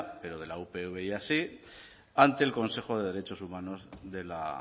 pero de la upv ya sí ante el consejo de derechos humanos de la